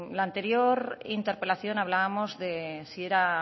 la anterior interpelación hablábamos de si era